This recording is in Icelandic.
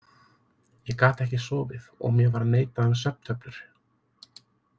Ég gat ekki sofið og mér var neitað um svefntöflur.